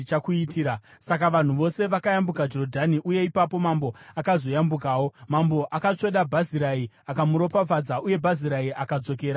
Saka vanhu vose vakayambuka Jorodhani, uye ipapo mambo akazoyambukawo. Mambo akatsvoda Bhazirai akamuropafadza, uye Bhazirai akadzokera kumba kwake.